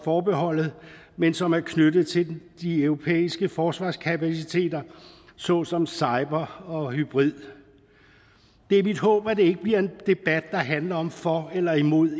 forbeholdet men som er knyttet til de europæiske forsvarskapaciteter såsom cyber og hybrid det er mit håb at det ikke bliver en debat der handler om for eller imod